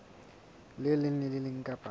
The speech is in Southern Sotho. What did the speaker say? leng le le leng kapa